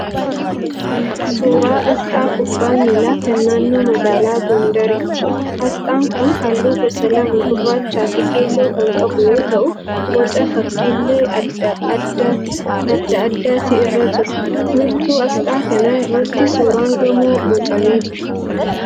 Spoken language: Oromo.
Suuraa asxaa kubbaa miilaa kan naannoo magaalaa Gondoriiti. Asxaan kun halluu gosa lama gurraachaa fi keelloo kan qabu yoo ta'u, boca fakkiilee adda addaati irra jira. Wiirtuu asxaa kanaa irratti suuraan gamoo boocamee jira.